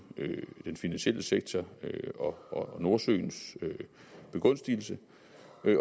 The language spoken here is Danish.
den finansielle sektors og nordsøens begunstigelse